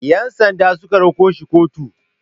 Yansanda su ka rako shi kotu.